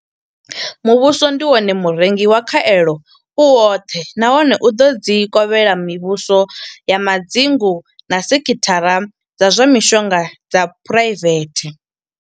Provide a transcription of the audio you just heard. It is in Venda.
Muvhuso ndi wone murengi wa khaelo u woṱhe nahone u ḓo dzi kovhela mivhuso ya madzingu na sekhithara dza zwa mishonga dza phuraivethe.